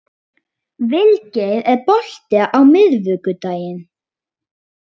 Vilgeir, er bolti á miðvikudaginn?